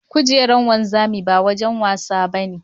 Kujerar wanzami ba wurin wasa ba ne.